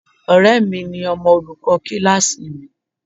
Ọ̀rẹ́ mi ni ọmọ olùkọ́ kíláàsì mi.